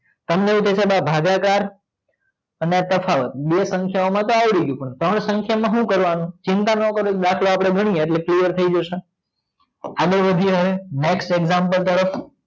તમને એવું થસે કે આ ભાગકાર અને તફાવત બે સંખ્યા માંતો આવડી ગયું પણ ત્રણ સંખ્યા માં સુ કરવાનું ચિંતા નો કરો દાખલો આપડે ગણીએ એટલે ક્લિયર થાય જસે આગડ વધી હવે નેક્સ્ટ એક્જામ્પલ તરફ